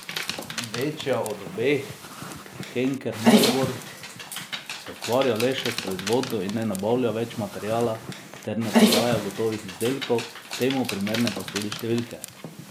Večja od obeh, Henker Maribor, se ukvarja le še s proizvodnjo in ne nabavlja več materiala ter ne prodaja gotovih izdelkov, temu primerne pa so tudi številke.